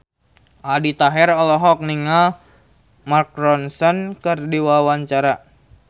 Aldi Taher olohok ningali Mark Ronson keur diwawancara